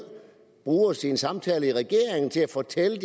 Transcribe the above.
bruger i sine samtaler i regeringen til at fortælle